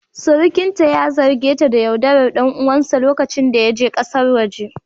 Surukinta ya zarge ta da yaudarar ɗan uwansa lokacin da yake kasar waje